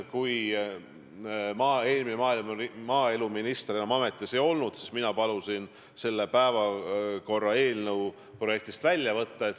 Kui eelmine maaeluminister enam ametis ei olnud, siis mina palusin selle ettepaneku päevakorraprojektist välja võtta.